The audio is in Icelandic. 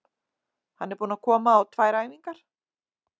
Hann er búinn að koma á tvær æfingar.